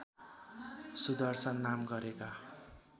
सुदर्शन नाम गरेका